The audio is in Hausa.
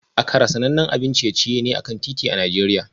Akara sanannen abincin ciye-ciye ne a kan titi a Najeriya